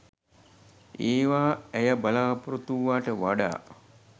ඒවා ඇය බලාපොරොත්තු වූවාට වඩා